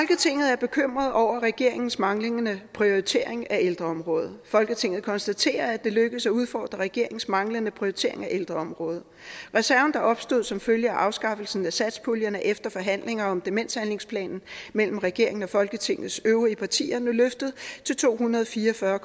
er bekymret over regeringens manglende prioritering af ældreområdet folketinget konstaterer at det er lykkedes at udfordre regeringens manglende prioritering af ældreområdet reserven der opstod som følge af afskaffelsen af satspuljen er efter forhandlinger om demenshandlingsplanen mellem regeringen og folketingets øvrige partier nu løftet til to hundrede og fire og fyrre